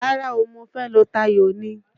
Rárá o, mo fẹ́ lọ tayò ni.